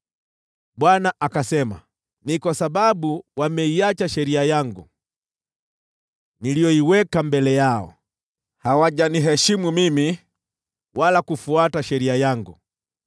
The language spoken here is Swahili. Bwana akasema, “Ni kwa sababu wameiacha sheria yangu, niliyoiweka mbele yao: hawajaniheshimu mimi wala kufuata sheria yangu.